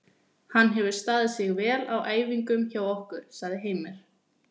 Hann hefur staðið sig vel á æfingum hjá okkur, sagði Heimir.